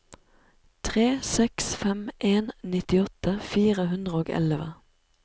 tre seks fem en nittiåtte fire hundre og elleve